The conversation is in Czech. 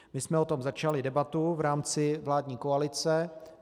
My jsem o tom začali debatu v rámci vládní koalice.